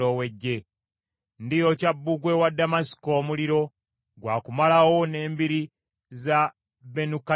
“Ndiyokya bbugwe wa Ddamasiko omuliro; gwakumalawo n’embiri za Benukadaadi.”